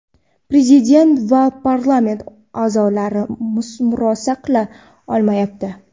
Prezident va parlament o‘zaro murosa qila olmayapti .